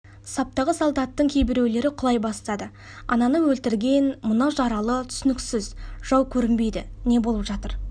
саптағы солдаттардың кейбіреулері құлай бастады ананы өлтірген мынау жаралы түсініксіз жау көрінбейді не болып жатыр